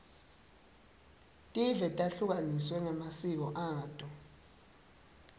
tive tehlukaniswe ngemasiko ato